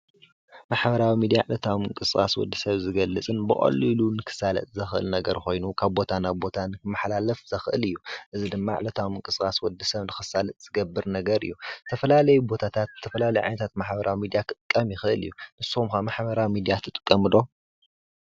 ማሕበራዊ ሚድያ ዕለታዊ ምንቅስቃስ ወዲ ሰብ ዝገልፅን ብቀሊሉ ክሳለጥ ዝክእል ነገር ኮይኑ ካብ ቦታ ናብ ቦታን ክማሓላፍ ዘክእል እዩ፡፡ እዚ ድማ ዕለታዊ ምንቅስቃስ ወዲ ሰብ ንከሳልጥ ዝገብር ነገር እዩ፡፡ ዝተፈላለዩ ቦታታት ዝተፈላለዩ ዓይነታት ማሕበራዊ ሚድያ ክጥቀም ይክእል እዩ፡፡ ንስኩም ከ ማሕበራዊ ሚድያ ትጥቀሙ ዱ?